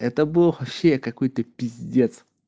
это был вообще какой-то пиздец